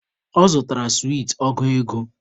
Ọ zutara sweet ọgụ ego